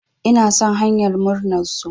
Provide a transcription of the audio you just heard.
Ina son hanyar murnar su.